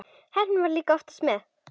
Heppnin var líka oftast með.